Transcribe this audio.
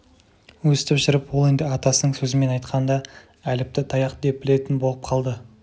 өстіп жүріп ол енді атасының сөзімен айтқанда әліпті таяқ деп білетін болып қалды